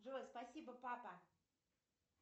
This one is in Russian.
джой спасибо папа